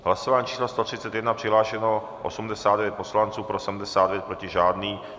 V hlasování číslo 131 přihlášeno 89 poslanců, pro 79, proti žádný.